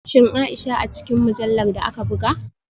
Shin Aisha a cikin mujallar da aka buga?